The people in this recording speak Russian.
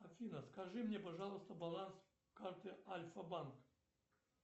афина скажи мне пожалуйста баланс карты альфа банк